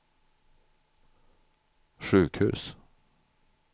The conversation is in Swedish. sjukhus